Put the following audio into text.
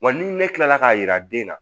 Wa ni ne kilala k'a yira den na